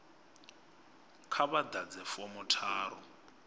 kha vha ḓadze fomo tharu